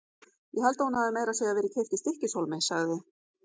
Ég held að hún hafi meira að segja verið keypt í STYKKISHÓLMI, sagði